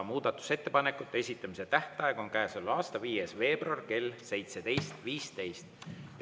Muudatusettepanekute esitamise tähtaeg on käesoleva aasta 5. veebruar kell 17.15.